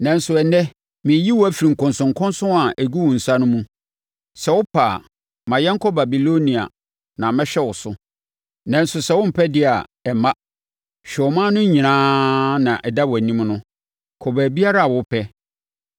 Nanso, ɛnnɛ mereyi wo afiri nkɔnsɔnkɔnsɔn a ɛgu wo nsa no mu. Sɛ wopɛ a, ma yɛnkɔ Babilonia na mɛhwɛ wo so, nanso sɛ wompɛ deɛ a ɛmma. Hwɛ ɔman no nyinaa na ɛda wʼanim no, kɔ baabiara a wopɛ.”